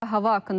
hava haqqında.